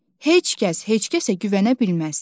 Heç kəs heç kəsə güvənə bilməz.